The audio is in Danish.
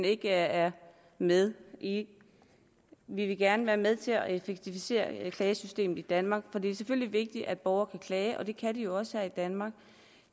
ikke er med vi vil gerne være med til at effektivisere klagesystemet i danmark for det er selvfølgelig vigtigt at borgere kan klage og det kan de jo også her i danmark